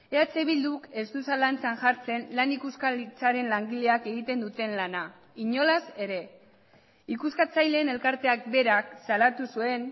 eh bilduk ez du zalantzan jartzen lan ikuskaritzaren langileak egiten duten lana inolaz ere ikuskatzaileen elkarteak berak salatu zuen